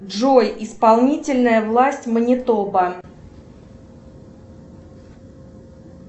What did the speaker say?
джой исполнительная власть монитоба